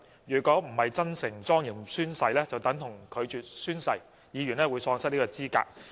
如果並非真誠及莊嚴宣誓，便等同拒絕宣誓，議員會因此而喪失資格。